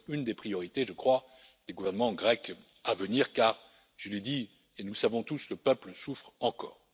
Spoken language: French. Ce doit être une des priorités, je crois, des gouvernements grecs à venir, car je l'ai dit, et nous le savons tous le peuple souffre encore.